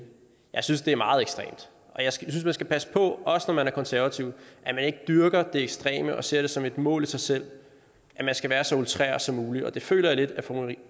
jeg synes det er meget ekstremt og jeg synes man skal passe på også når man er konservativ at man ikke dyrker det ekstreme og ser det som et mål i sig selv at man skal være så outreret som muligt og det føler jeg lidt at fru